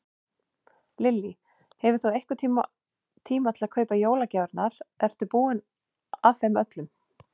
Lillý: Hefur þú einhvern tíma til að kaupa jólagjafirnar, ertu búinn að þeim öllum?